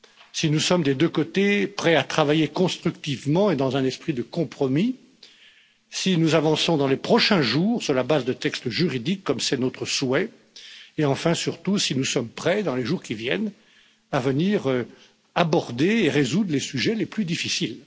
Si nous sommes, des deux côtés, prêts à travailler constructivement et dans un esprit de compromis, si nous avançons dans les prochains jours sur la base de textes juridiques, comme c'est notre souhait, et, enfin et surtout, si nous sommes prêts, dans les jours qui viennent, à aborder et résoudre et les sujets les plus difficiles.